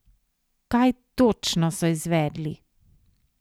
Kaj točno so izvedli?